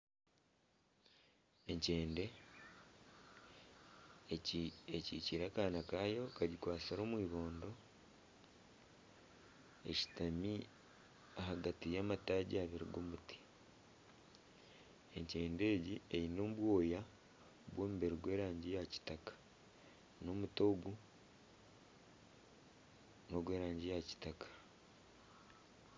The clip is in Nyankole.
Enkyende egi ekikiire akaana kaayo kagikwatsire omu ibondo, eshutami ahagati y'amataagi abiri g'omuti, egi eyine obwoya bw'omubiri gw'erangi eya kitaka, omuti ogu n'ogw'erangi yakitaka.